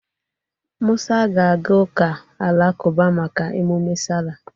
Mụsa ga-aga ụka alakụba maka emume sala.